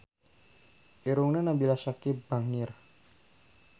Irungna Nabila Syakieb bangir